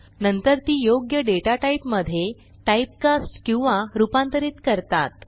नंतर ती योग्य डेटाटाईप मधे टाईपकास्ट किंवा रूपांतरित करतात